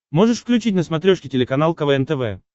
можешь включить на смотрешке телеканал квн тв